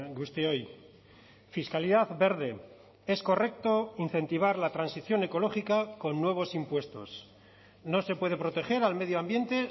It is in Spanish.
guztioi fiscalidad verde es correcto incentivar la transición ecológica con nuevos impuestos no se puede proteger al medio ambiente